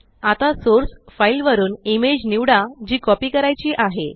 आता source file वरुन image निवडा जी कॉपी करायची आहे